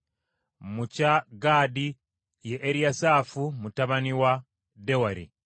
mu kya Gaadi ye Eriyasaafu mutabani wa Deweri;